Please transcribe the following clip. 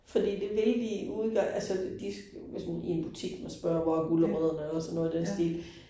Fordi det vil de ikke, altså de hvis man i en butik man spørger hvor er gulerødderne og sådan noget i den stil